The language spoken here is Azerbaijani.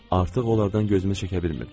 Artıq onlardan gözümü çəkə bilmirdim.